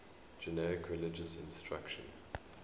generic religious instruction